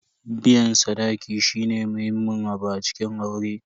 Biyan sadaki shine muhimmin abu a cikin aure.